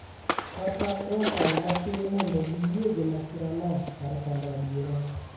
kata e okang' matin mondo giyie gi masirano kar pando adiera.